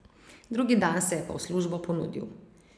Drugi dan se je pa v službo ponudil.